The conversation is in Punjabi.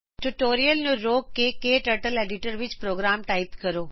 ਟਯੂਟੋਰੀਅਲ ਨੂੰ ਰੋਕੋ ਅਤੇ ਆਪਣੇ ਕਟਰਟਲ ਐਡੀਟਰ ਵਿੱਚ ਪ੍ਰੋਗਰਾਮ ਟਾਈਪ ਕਰੋ